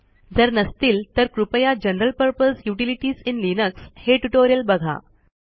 जर नसतील तर कृपया general purpose utilities in Linux हे ट्युटोरियल बघा